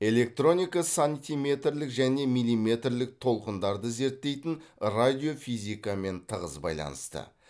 электроника сантиметрлік және миллиметрлік толқындарды зерттейтін радиофизикамен тығыз байланысты